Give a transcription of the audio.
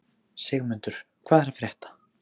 Sigmundur, hvað er að frétta?